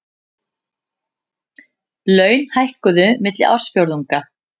Laun hækkuðu milli ársfjórðunga